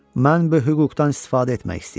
Mən bu hüquqdan istifadə etmək istəyirəm.